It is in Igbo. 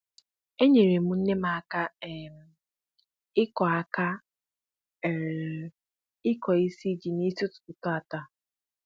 é nyèrè m nne m aka um ịkụ aka um ịkụ isi ji n'isi ụtụtụ tàata